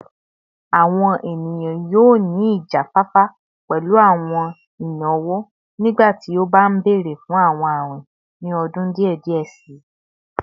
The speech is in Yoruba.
Awọn eniyan yoo ni ijafafa pẹlu awọn inawo nigbati o ba nbere fun awọn awin ni ọdun diẹ diẹ sii